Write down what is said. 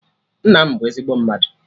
Nna m bụ ezigbo mmadụ